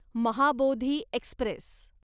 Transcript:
Mahabodhi Express